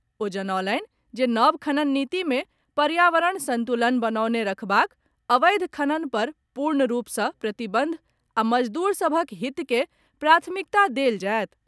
ओ जनौलनि जे नव खनन नीति मे पर्यावरण संतुलन बनौने राखबाक, अवैध खनन पर पूर्ण रूप से प्रतिबंध आ मजदूर सभक हित के प्राथमिकता देल जायत।